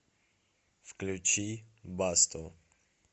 включи басто